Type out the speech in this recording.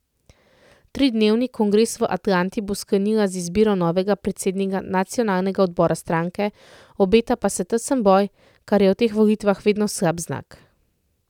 Tridnevni kongres v Atlanti bo sklenila z izbiro novega predsednika nacionalnega odbora stranke, obeta pa se tesen boj, kar je v teh volitvah vedno slab znak.